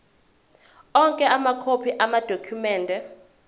onke amakhophi amadokhumende